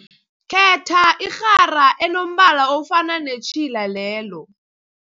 Khetha irhara enombala ofana netjhila lelo.